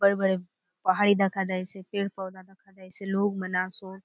बड़े बड़े पहाड़ी दखा दयेसे पेड़ - पौधा दखा दयेसे लोग मन आसोत।